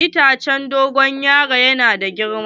Itace na dogon yaron yana da girma.